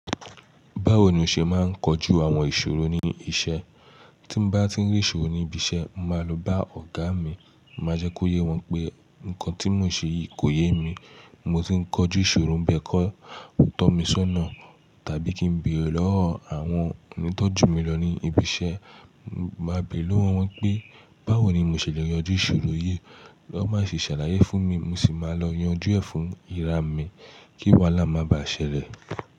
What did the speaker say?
Báwo ni o ṣe máa ń kojú àwọn ìṣòro ní iṣẹ́? Tí n bá tí ń rí ìṣòro ní ibi iṣẹ́, n màá lọ bá ọ̀gá mi, màá jẹ́ kó yé wọn pé nǹkan tí mò ń ṣe yìí kò yé mi. Mo tí ń kojú ìṣòro n bẹ́ẹ̀ kọ́ tọ́ mi sónà, tàbí kí n béèrè lọ́wọ́ àwọn enítọ́jú mi lọ ní ibi iṣẹ́. Màá béèrè lọ́wọ́ wọn pé báwo ni mo ṣè lè yanjú ìṣòro yìí, tọn baa se ṣàlàyé fún mi, mo sì máa lọ yanjú ẹ̀ fún ìra mi kí wahalá máa bá ṣẹlẹ̀